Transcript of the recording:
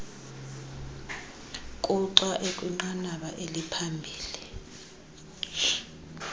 kuxa ekwinqanaba eliphambili